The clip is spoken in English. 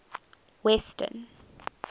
western